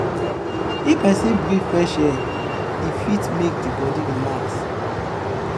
if persin breath fresh air e fit make di bodi relax